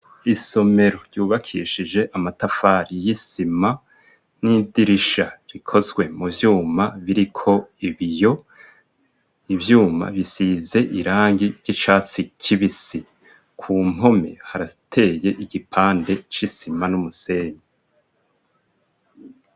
Isomero ryubakishije amatafari y'isima n'idirisha rikozwe mu vyuma biriko ibiyo, ivyuma bisize irangi ry'icatsi kibisi, ku mpome harateye igipande c'isima n'umusenyi.